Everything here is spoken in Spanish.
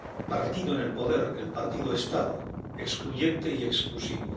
partido en el poder —el partido Estado— excluyente y exclusivo.